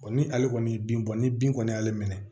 ni ale kɔni ye bin bɔ ni bin kɔni y'ale minɛ